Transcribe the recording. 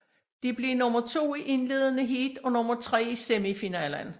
De blev nummer to i indledende heat og nummer tre i semifinalen